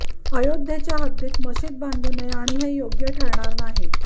अयोध्येच्या हद्दीत मशीद बांधू नये आणि हे योग्य ठरणार नाही